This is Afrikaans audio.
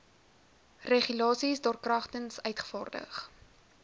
regulasies daarkragtens uitgevaardig